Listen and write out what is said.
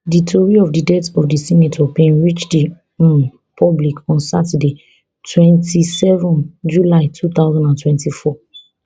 di tori of di death of di senator bin reach di um public on saturday twenty-seven july two thousand and twenty-four